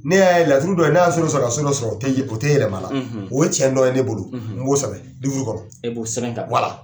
Ne y'a ye laturu dɔ ye n'a y'a so dɔ sɔrɔ ka so dɔ sɔrɔ o o tɛ yɛlɛma la o ye cɛn dɔ ye ne bolo n b'o sɛbɛn kɔnɔ e b'o sɛbɛn ka bila wala.